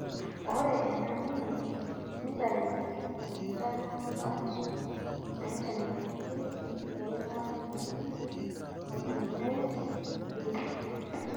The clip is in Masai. ore ena gene nitayu inkitanapat naitayunyieki eilata naji aldolase B